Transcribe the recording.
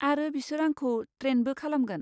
आरो बिसोर आंखौ ट्रेनबो खालामगोन।